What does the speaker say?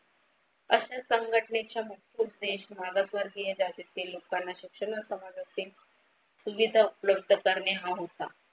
अशा संघटनेच्या मुख्य उद्देश मागासवर्गीय जातीतील लोकांना शिक्षणा समाजाचे सुविधा उपलब्ध करणे हा होता.